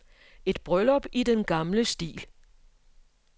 Et bryllup i den gamle stil.